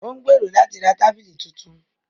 Ó ń gbèrò láti ra tábìlì tuntun